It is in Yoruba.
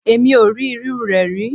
Èmi ò rí irúu rẹ̀ rí.